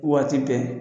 Waati bɛɛ